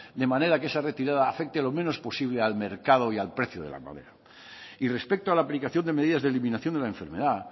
de manera que esa retirada afecte lo menos posible al mercado y al precio de la madera y respecto a la aplicación de medidas de eliminación de la enfermedad